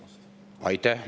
Aitäh!